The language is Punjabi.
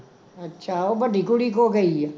ਅੱਛਾ ਉਹ ਵੱਡੀ ਕੁੜੀ ਕੋਲ ਗਈ ਆ?